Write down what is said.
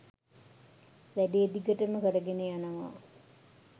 වැඩේ දිගටම කරගෙන යනවා